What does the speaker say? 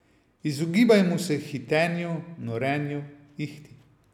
Izogibajmo se hitenju, norenju, ihti.